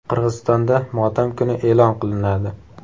Qirg‘izistonda motam kuni e’lon qilinadi.